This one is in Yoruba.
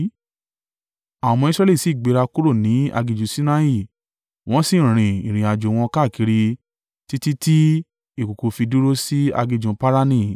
Àwọn ọmọ Israẹli sì gbéra kúrò ní aginjù Sinai wọ́n sì rin ìrìnàjò wọn káàkiri títí tí ìkùùkuu fi dúró sí aginjù Parani.